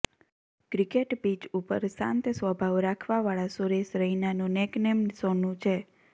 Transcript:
cricket pitch ઉપર શાંત સ્વભાવ રાખવા વાળા સુરેશ રૈનાનું નેકનેમ સોનું છે